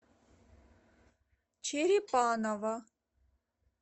черепаново